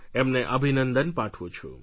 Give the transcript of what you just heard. એમને અભિનંદન પાઠવું છું